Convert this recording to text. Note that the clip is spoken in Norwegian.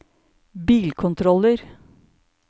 bilkontroller